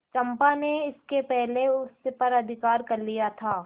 चंपा ने इसके पहले उस पर अधिकार कर लिया था